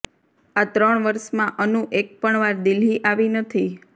આ ત્રણ વર્ષમાં અનુ એક પણ વાર દિલ્હી આવી નથી